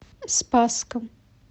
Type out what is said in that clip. спасском